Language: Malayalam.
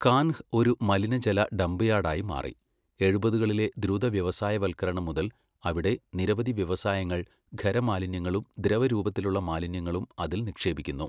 കാൻഹ് ഒരു മലിനജല ഡംപ് യാർഡായി മാറി, എഴുപതുകളിലെ ദ്രുത വ്യവസായവൽക്കരണം മുതൽ അവിടെ നിരവധി വ്യവസായങ്ങൾ ഖരമാലിന്യങ്ങളും ദ്രവരൂപത്തിലുള്ള മാലിന്യങ്ങളും അതിൽ നിക്ഷേപിക്കുന്നു.